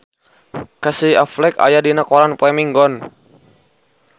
Casey Affleck aya dina koran poe Minggon